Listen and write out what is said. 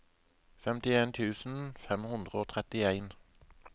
femtien tusen fem hundre og trettien